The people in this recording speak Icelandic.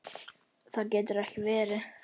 Það getur ekki verið